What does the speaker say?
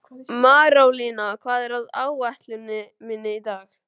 Marólína, hvað er á áætluninni minni í dag?